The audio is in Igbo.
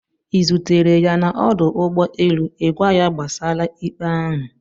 ị zutere ya na ọdụ ụgbọ elu ịgwa ya gbasara ikpe ahụ?